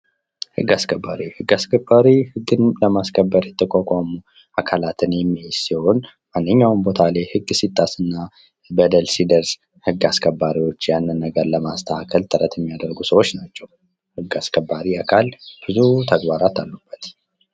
ህግ አስከባሪ ፦ ህግ አስከባሪ ህግን ለማስከበር የተቋቋሙ አካላትን የሚይዝ ሲሆን ማንኛውም ቦታ ላይ ህግ ሲጣስ እና በደል ሲደርስ ህግ አስከባሪዎች ያንን ነገር ለማስተካከል ጥረት የሚያደርጉ ሰዎች ናቸው ።ህግ አስከባሪ አካል ብዙ ተግባራት አሉበት ።